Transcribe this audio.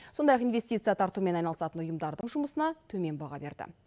сондай ақ инвестиция тартумен айналысатын ұйымдардың жұмысына төмен баға берді